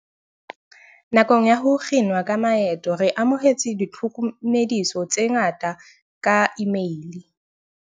"Nakong ya ho kginwa ha maeto re amohetse ditlhoko mediso tse ngata ka imeile."